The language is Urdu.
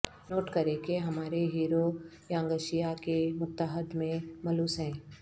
نوٹ کریں کہ ہمارے ہیرو یانگشیا کے متحد میں ملوث ہیں